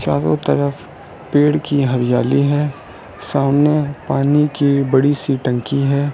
चारों तरफ पेड़ की हरियाली है सामने पानी की बड़ी सी टंकी है।